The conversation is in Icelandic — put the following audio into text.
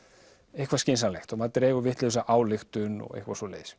eitthvað skynsamlegt og maður dregur vitlausa ályktun og eitthvað svoleiðis